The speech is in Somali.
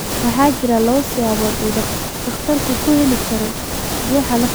Waxaa jira laba siyaabood oo uu takhtarku ku heli karo dhuuxa lafta.